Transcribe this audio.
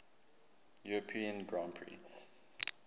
european grand prix